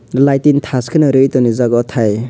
lighting thash kheno rwitoniijak oh thai.